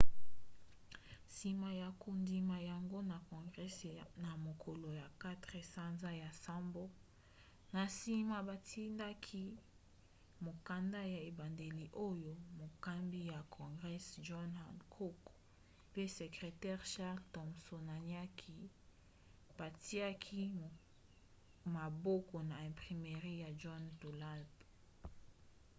nsima ya kondima yango na congres na mokolo ya 4 sanza ya nsambo na nsima batindaki mokanda ya ebandeli oyo mokambi ya congres john hancock pe sekretere charles thomsonatiaki batiaki maboko na imprimerie ya john dunlap